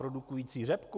Produkující řepku?